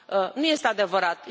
Nu este adevărat.